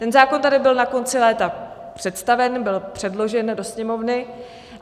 Ten zákon tady byl na konci léta představen, byl předložen do Sněmovny.